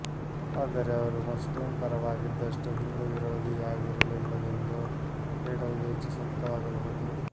ಆದರೆ ಅವರು ಮುಸ್ಲಿಮ್ ಪರವಾಗಿದ್ದಷ್ಟು ಹಿಂದೂ ವಿರೋಧಿಯಾಗಿರಲಿಲ್ಲವೆಂದು ಹೇಳುವುದು ಹೆಚ್ಚು ಸೂಕ್ತವಾಗಬಹುದು